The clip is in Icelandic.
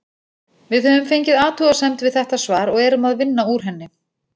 Við höfum fengið athugasemd við þetta svar og erum að vinna úr henni.